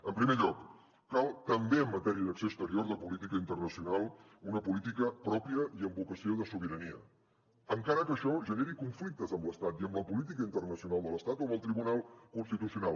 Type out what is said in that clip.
en primer lloc cal també en matèria d’acció exterior de política internacional una política pròpia i amb vocació de sobirania encara que això generi conflictes amb l’estat i amb la política internacional de l’estat o amb el tribunal constitucional